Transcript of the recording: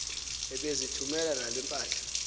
ebezithumela nale mpahla